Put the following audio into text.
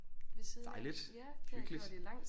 Dejligt hyggeligt